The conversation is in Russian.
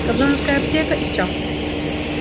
кобзоновская аптека и всё